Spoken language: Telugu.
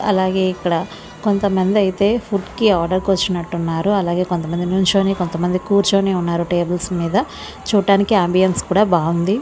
అలాగే ఇక్కడ కొంతమంది అయితే ఫుడ్ కి ఆర్డర్ కు వచ్చినట్టు వున్నారు అలాగే కొంతమంది నుంచుని కొంతమంది కూర్చుని ఉన్నారు టేబుల్స్ మీద చూట్టానికి అంబియాన్స్ కూడ బావుంది.